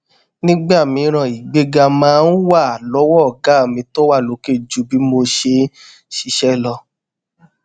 nígbà mìíràn ìgbéga máa ń wà lọwọ ọgá mi tó wà lókè ju bí mo ṣe n ṣiṣẹ lọ